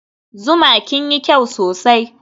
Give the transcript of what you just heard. zuma kinyi kyau sosai